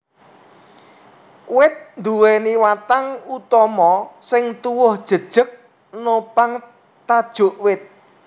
Wit nduwèni watang utama sing tuwuh jejeg nopang tajuk wit